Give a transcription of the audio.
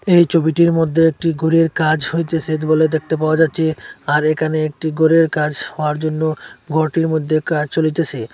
এই ছবিটির মধ্যে একটি গরের কাজ হইতেছে বলে দেখতে পাওয়া যাচ্ছে আর এখানে একটি গরের কাজ হওয়ার জন্য ঘরটির মধ্যে কাজ চলিতেসে।